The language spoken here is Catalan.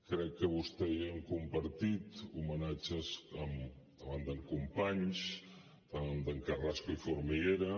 crec que vostè i jo hem compartit homenatges davant d’en companys davant d’en carrasco i formiguera